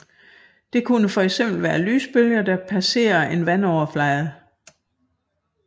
Det kunne for eksempel være lysbølger der passerer en vandoverflade